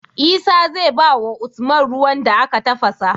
Isa zai bawa usman ruwan da aka tafasa